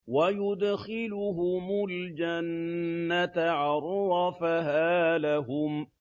وَيُدْخِلُهُمُ الْجَنَّةَ عَرَّفَهَا لَهُمْ